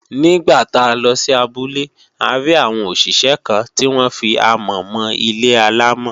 Nígbà tá a lọ sí abúlé a rí àwọn òṣìṣẹ́ kan tí wọ́n fi amọ̀ mọ ilé-àlámọ̀